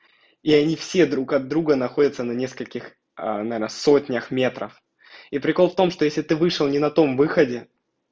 и они все друг от друга находятся на нескольких наверное сотнях метрах и прикол в том что если ты вышел не на том выходе